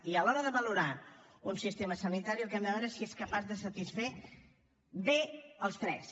i a l’hora de valorar un sistema sanitari el que hem de veure és si és capaç de satisfer bé els tres